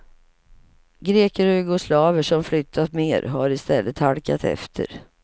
Greker och jugoslaver som flyttat mer har i stället halkat efter.